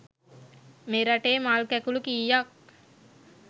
මෙරටේ මල් කැකුළු කීයක්